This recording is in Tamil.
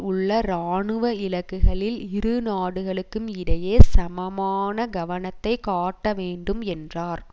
உள்ள இராணுவ இலக்குகளில் இரு நாடுகளுக்கும் இடையே சமமான கவனத்தை காட்ட வேண்டும் என்றார்